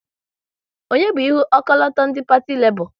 Onye bu ihu ọkọlọtọ ndị Parti Lebọ?